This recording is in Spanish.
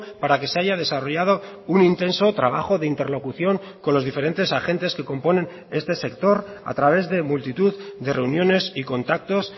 para que se haya desarrollado un intenso trabajo de interlocución con los diferentes agentes que componen este sector a través de multitud de reuniones y contactos